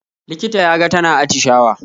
Likita ya ga tana atishawa